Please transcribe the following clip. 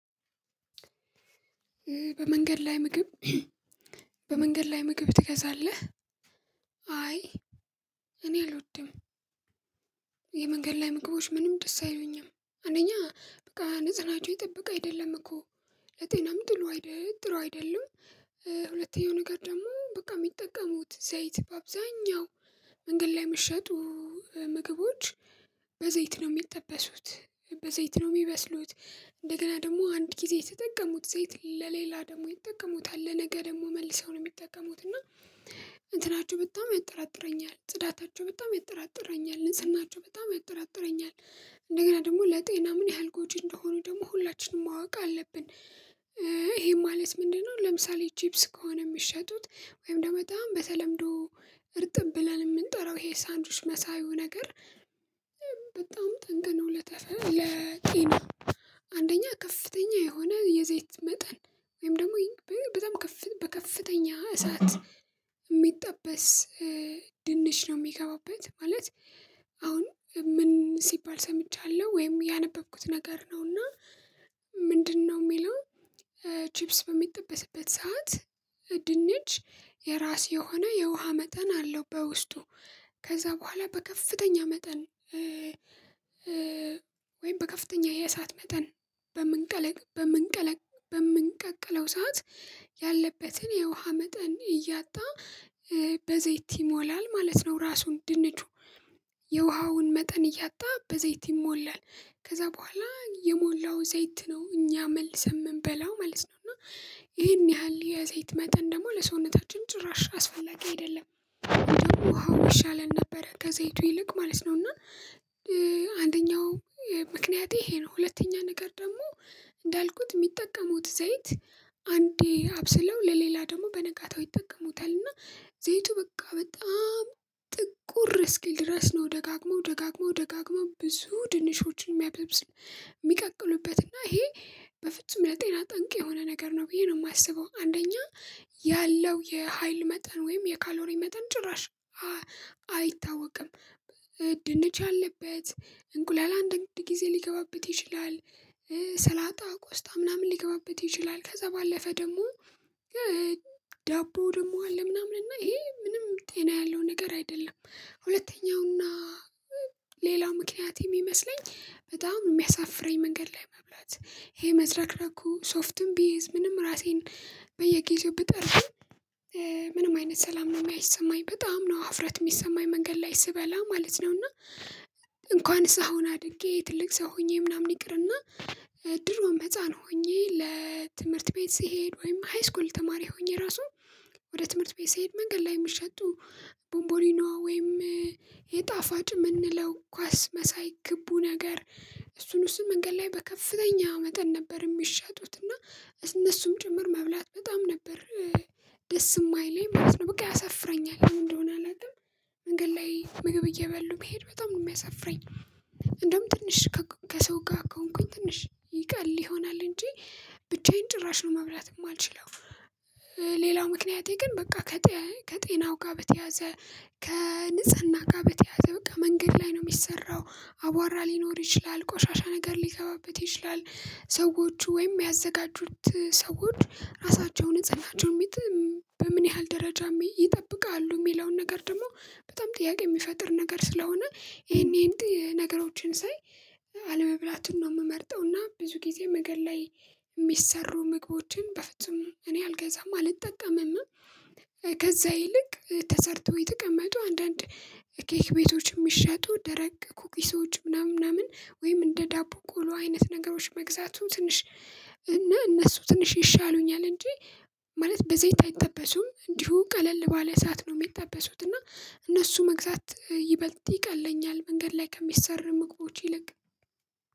"በመንገድ ላይ ምግብ በመንገድ ላይ ምግብ ትገዛለህ?" አይ እኔ አልወድም። የመንገድ ላይ ምግቦች ምንም ደስ አይሉኝም። አንደኛ በቃ ንጽህናቸው የጠበቀ አይደለም እኮ ለጤናም ጥሎ አይደለም ጥሩ አይደለም ሁለተኛው ነገር ደግሞ በቃ የሚጠቀሙት ዘይት በአብዛኛው መንገድ ላይ የሚሸጡ ምግቦች በዘይት ነው የሚጠበሱት በዘይት ነው የሚበስሉት እንደገና ደግሞ አንድ ጊዜ የተጠቀሙት ዘይት ለሌላ ደግሞ ይጠቀሙታል ለነገ ደግሞ መልሰው ነው የሚጠቀሙት እና እንትናቸው በጣም ያጠራጥረኛል ጽዳታቸው በጣም ያጠራጥረኛል ንጽህናቸው በጣም ያጠራጥረኛል። እንደገና ደግሞ ለጤና ምን ያህል ጎጂ እንደሆኑ ደግሞ ሁላችንም ማወቅ አለብን። ይሄም ማለት ምንድነው ለምሳሌ ቺፕስ ከሆነ የምትሸጡት ወይም ደግሞ በጣም በተለምዶ እርጥብ ብለን የምንጠራው ይሄ ሳንድዊች መሳዩ ነገር በጣም ጠንቅ ነው ለተፈ ለጤና አንደኛ ከፍተኛ የሆነ የዘይት መጠን ወይም ደግሞ በጣም ከፍ በከፍተኛ እሳት የሚጠበስ ድንች ነው የሚገባበት ማለት አሁን ምን ሲባል ሰምቻለሁ ወይም ያነበብኩት ነገር ነው እና ምንድነው የሚለው ቺፕስ በሚጠበስበት ሰዓት ድንች የራስ የሆነ የውሃ መጠን አለው በውስጡ ከዛ በኋላ በከፍተኛ መጠን ወይም በከፍተኛ የእሳት መጠን በምንቀለ በምንቀለ በምንቀቅለው ሰዓት ያለበትን የውሃ መጠን እያጣ በዘይት ይሞላል ማለት ነው ራሱን ድንቹ የውሃውን መጠን እያጣ በዘይት ይሞላል። ከዛ በኋላ የሞላው ዘይት ነው እኛ መልሰን የምንበላው ማለት ነው እና ይሄን ያህል የዘይት መጠን ደግሞ ለሰውነታችን ጭራሽ አስፈላጊ አይደለም። ደግሞ ውሃው ይሻለን ነበረ ከዘይቱ ይልቅ ማለት ነው እና አንደኛው ምክንያቴ ይሄ ነው። ሁለተኛ ነገር ደግሞ እንዳልኩት የሚጠቀሙት ዘይት አንዴ አብስለው ለሌላ ደግሞ በነጋታው ይጠቀሙታል እና ዘይቱ በቃ በጣም ጥቁር እስኪል ድረስ ነው ደጋግመው ደጋግመው ደጋግመው ብዙ ድንሾችን የሚያበብስ የሚቀቅሉበት እና ይሄ በፍጹም ለጤና ጠንቅ የሆነ ነገር ነው ብዬ ነው የማስበው። አንደኛ ያለው የሀይል መጠን ወይም የካሎሪ መጠን ጭራሽ አይታወቅም። ድንች ያለበት እንቁላል አንድአንድ ጊዜ ሊገባበት ይችላል። ሰላጣ ቆስጣ ምናምን ሊገባበት ይችላል ከዛ ባለፈ ደግሞ ዳቦው ደግሞ አለ ምናምን እና ይሄ ምንም ጤና ያለው ነገር አይደለም። ሁለተኛውና ሌላው ምክንያት የሚመስለኝ በጣም የሚያሳፍረኝ መንገድ ላይ መብላት ይሄ መዝረክረኩ ሶፍትም ቢይዝ ምንም ራሴን በየጊዜው ብጠርግም ምንም አይነት ሰላም ነው የማይሰማኝ በጣም ነው ሀፍረት የሚሰማኝ መንገድ ላይ ስበላ ማለት ነው፤ እና እንኳንስ አሁን አድጌ ትልቅ ሰው ሆኜ ምናምን ይቅርና ድሮም ህፃን ሆኜ ለትምህርት ቤት ስሄድ ወይም ሃይስኩል ተማሪ ሆኜ ራሱ ወደ ትምህርት ቤት ስሄድ መንገድ ላይ የሚሸጡ ቦንቦሊኖ ወይም የጣፋጭ የምንለው ኳስ መሳይ ግቡ ነገር እሱን እሱን መንገድ ላይ በከፍተኛ መጠን ነበር የሚሸጡት እና እነሱም ጭምር መብላት በጣም ነበር ደስ የማይለኝ ማለት ነው። በቃ ያሰፍረኛል ለምን እንደሆነ አላቅም መንገድ ላይ ምግብ እየበሉ መሄድ በጣም ነው የሚያሳፍረኝ እንደውም ትንሽ ከሰው ጋር ከሆንኩኝ ትንሽ ይቀል ይሆናል እንጂ ብቻዬን ጭራሽ ነው መብላት የማልችለው ሌላው ምክንያቴ ግን በቃ ከጤ ከጤናው ጋር በተያያዘ ከንጽህና ጋር በተያያዘ በቃ መንገድ ላይ ነው የሚሰራው አቧራ ሊኖር ይችላል። ቆሻሻ ነገር ሊገባበት ይችላል። ሰዎቹ ወይም ያዘጋጁት ሰዎች ራሳቸው ንጽህናቸውን ሚጥ በምን ያህል ደረጃ ም ይጠብቃሉ የሚለውን ነገር ደግሞ በጣም ጥያቄ የሚፈጥር ነገር ስለሆነ ይሄን ይሄን ነገሮችን ሳይ አለመብላቱን ነው የምመርጠው እና ብዙ ጊዜ መንገድ ላይ የሚሰሩ ምግቦችን በፍጹም እኔ አልገዛም አልጠቀምም ከዛ ይልቅ ተሰርቶ የተቀመጡ አንዳንድ ኬክ ቤቶችን የሚሸጡ ደረቅ ኩኪሶች ምናምን ምናምን ወይም እንደ ዳቦ ቆሎ አይነት ነገሮች መግዛቱ ትንሽ እና እነሱ ትንሽ ይሻሉኛል እንጂ ማለት በዘይት አይጠበሱም እንዲሁ ቀለል ባለ እሳት ነው የሚጠበሱት እና እነሱ መግዛት ይበልጥ ይቀለኛል መንገድ ላይ ከሚሰሩ ምግቦች ይልቅ